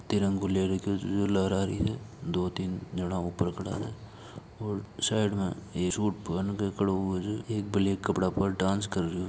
तिरंगा ले रखो जे लहरा री जे दो तीन जणा ऊपर खड़ा है और साइड में एक सूट पहन के खड़ु हुए है एक ब्लैक कपडा पहन डांस कर रो जे।